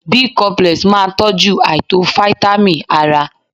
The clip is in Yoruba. Bicomplex máa tọ́jú àìtó fítámìn ara.